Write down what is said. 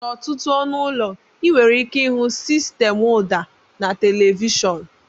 N'ọtụtụ ọnụ ụlọ, ị nwere ike ịhụ sistemụ ụda na televishọn.